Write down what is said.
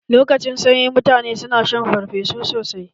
Lokacin sanyi, mutane su na shan farfesu sosai.